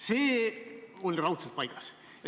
See oli raudselt paigas.